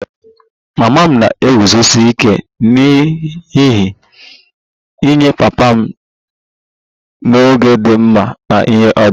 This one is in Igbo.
Mama m na-eguzosi ike n'ihe nye papa m n'oge dị mma na ihe ọjọọ